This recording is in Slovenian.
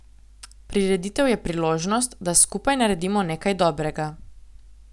Prireditev je priložnost, da skupaj naredimo nekaj dobrega.